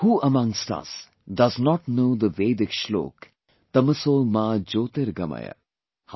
Who amongst us does not know the Vedic shloka 'Tamso Ma Jyotirgamaya'